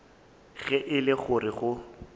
ge e le gore go